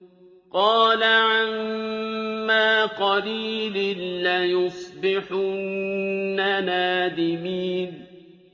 قَالَ عَمَّا قَلِيلٍ لَّيُصْبِحُنَّ نَادِمِينَ